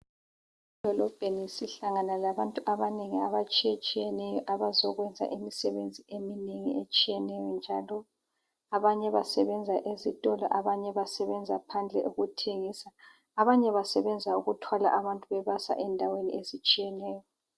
Edolobheni sihlangana labantu abanengi abatshiyetshiyeneyo abazokwenza imisebenzi eminengi etshiyeneyo njalo. Abanye basebenza ezitolo, abanye basebenza phandle ukuthengisa, abanye basebenza ukuthwala abantu bebasa endaweni ezitshiyeneyo.